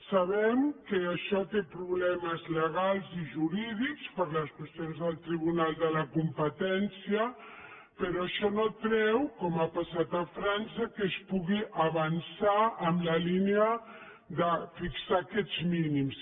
sabem que això té problemes legals i jurídics per les qüestions del tribunal de la competència però això no treu com ha passat a frança que es pugui avançar en la línia de fixar aquests mínims